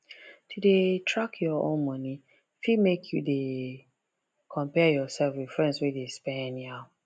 to dey dey track your own money fit make you dey compare yourself with friends wey de spend anyhow